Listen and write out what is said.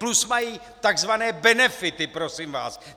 Plus mají tzv. benefity, prosím vás.